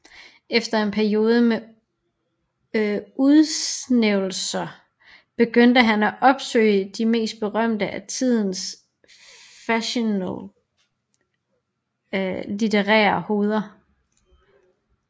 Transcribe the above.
Efter en periode med udsvævelser begyndte han at opsøge de mest berømte af tidens fashionable litterære hoveder